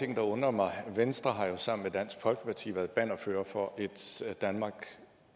ting der undrer mig venstre har sammen med dansk folkeparti været bannerfører for et danmark